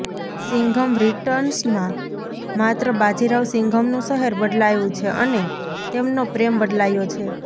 સિંઘમ રિટર્ન્સમાં માત્ર બાજીરાવ સિંઘમનું શહેર બદલાયુ છે અને તેમનો પ્રેમ બદલાયો છે